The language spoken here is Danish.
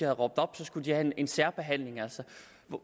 råbt op skulle have en særbehandling altså